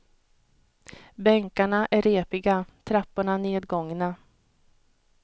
Bänkarna är repiga, trapporna nedgångna.